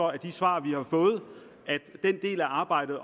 af de svar vi har fået at den del af arbejdet